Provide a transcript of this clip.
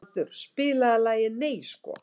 Baldur, spilaðu lagið „Nei sko“.